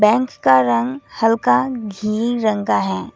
And उसका रंग हल्का ग्रीन रंग का है।